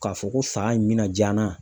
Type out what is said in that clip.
K'a fɔ ko sa in bɛna ja n na.